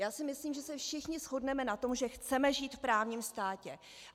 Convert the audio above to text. Já si myslím, že se všichni shodneme na tom, že chceme žít v právním státě.